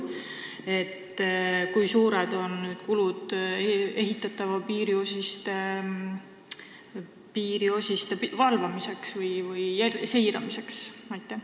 Kui suured on kulud alles ehitatavate piiriosiste valvamiseks või seiramiseks?